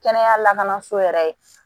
Kɛnɛya lakanaso yɛrɛ ye